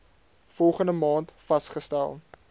volgende maand vasgestel